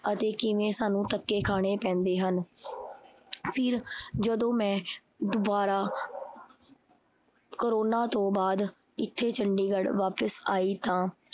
ਅਤੇ ਕਿਵੇਂ ਸਾਨੂੰ ਧੱਕੇ ਖਾਣੇ ਪੈਂਦੇ ਹਨ। ਫਿਰ ਜਦੋਂ ਮੈਂ ਦੁਬਾਰਾ ਕਰੋਨਾ ਤੋਂ ਬਾਅਦ ਇਥੇ ਚੰਡੀਗੜ੍ਹ ਵਾਪਿਸ ਆਈ ਤਾਂ